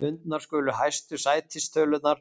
Fundnar skulu hæstu sætistölurnar